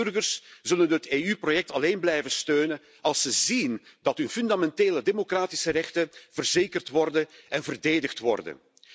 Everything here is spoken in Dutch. Want burgers zullen het EU project alleen blijven steunen als ze zien dat hun fundamentele democratische rechten verzekerd en verdedigd worden.